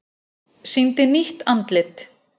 Sýndi nýtt andlit